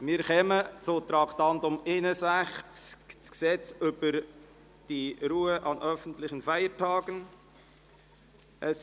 Wir kommen zum Traktandum 61, zum «Gesetz über die Ruhe an öffentlichen Feiertagen».